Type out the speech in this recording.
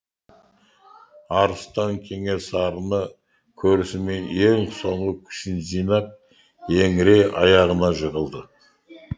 арыстан кенесарыны көрісімен ең соңғы күшін жинап еңірей аяғына жығылды